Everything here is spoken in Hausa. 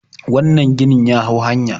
wannan ginin ya hau hanya